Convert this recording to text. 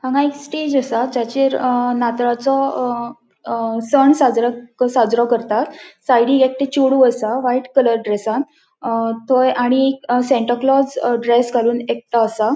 हांगा एक स्टेज असा जाचेर अ नातळाचो सण साजरो करतात साइडिक एक थे चेडु असा व्हाइट कलर ड्रेसात थंय आणि सांताक्लाऊस ड्रेस घालून एकतो असा.